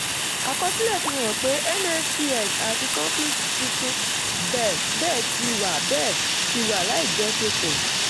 àkọsílẹ̀ fihan pé nfts àti conflux tuntun bẹ́ẹ̀ ti wà bẹ́ẹ̀ ti wà láìjọṣepọ̀.